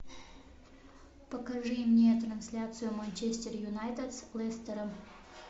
покажи мне трансляцию манчестер юнайтед с лестером